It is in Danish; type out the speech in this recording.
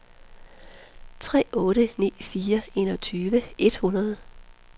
tre otte ni fire enogtyve et hundrede